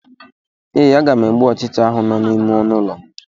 Ee, aga m egbu ọchịcha ahụ nọ n'ime ọnụ ụlọ m.